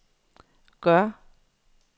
gør